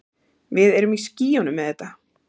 Við erum í skýjunum með þetta.